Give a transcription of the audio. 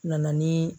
Nana ni